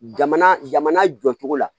Jamana jamana jɔcogo la